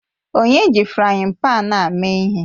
Onye ji frayin pan a mee ihe?